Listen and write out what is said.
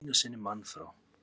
Við fengum einu sinni mann frá